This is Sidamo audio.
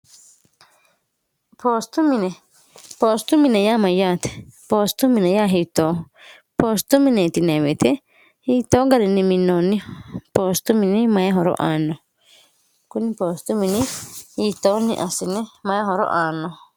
oostu mine poostu mine yaa mayyaate poostu mine yaa hiitoohu poostu mineeti neewete hiittoo ga'rinni minoonni poostu mini mayihoro aanno kuni poostu mini hitoonni asine mayehoro aanno